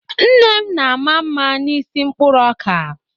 Nne m na-ama mma n'isi mkpụrụ ọka.